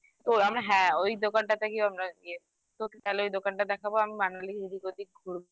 এ তো আমরা হ্যাঁ ওই দোকানটা থেকেই আমরা গিয়ে তোকে তাহলে ওই দোকানটা দেখাবো আমি Manali এদিক ওদিক ঘুরবো